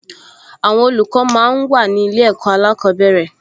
Àwọn olùkọ́ máa ń wà ní ilé ẹ̀kọ́ alákọ̀ọ́bẹ̀rẹ̀